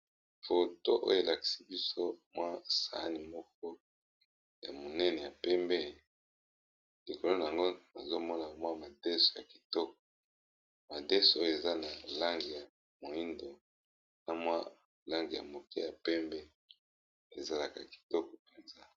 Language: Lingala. Photo oyo elakisi biso mwa sani moko ya monene ya pembe likolo na yango nazomona mwa madeso ya kitoko madeso oyo eza na lange ya moindo na mwa lange ya moke ya pembe ezalaka kitoko mpenza.